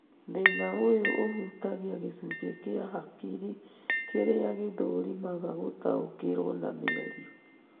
Thĩna ũyũ ũhutagia gĩcunjĩ kia hakiri kĩrĩa gĩthũrimaga gũtaũkĩrwo na mĩario